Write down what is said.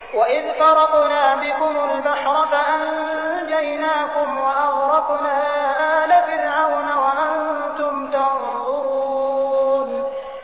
وَإِذْ فَرَقْنَا بِكُمُ الْبَحْرَ فَأَنجَيْنَاكُمْ وَأَغْرَقْنَا آلَ فِرْعَوْنَ وَأَنتُمْ تَنظُرُونَ